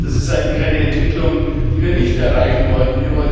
Das ist eigentlich eine Entwicklung, die wir nicht erreichen wollten.